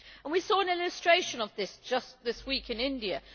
We saw an illustration of this just this week in India.